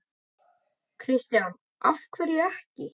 Kristján: Af hverju ekki?